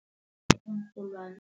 Iinrholwani.